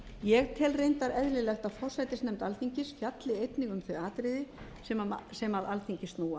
ég tel reyndar eðlilegt að forsætisnefnd alþingis fjalli einnig um þau atriði sem að alþingi snúa